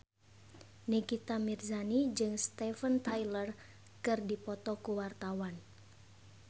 Nikita Mirzani jeung Steven Tyler keur dipoto ku wartawan